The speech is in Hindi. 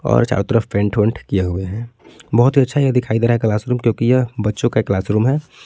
और चारों तरफ पेंट वेट किए हुए हैं बहुत ही अच्छा दिखाई दे रहा है ये क्लासरूम क्योंकि ये बच्चों का क्लासरूम है।